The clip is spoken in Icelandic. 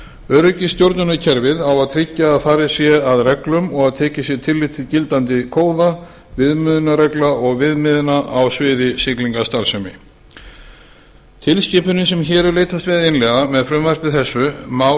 öryggisstjórnunarkerfið á að tryggja að farið sé að reglum og tekið sé tillit til gildandi kóða viðmiðunarreglna og viðmiðana á sviði siglingastarfsemi tilskipunin sem hér er leitast við að innleiða með frumvarpi þessu má